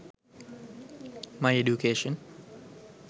my education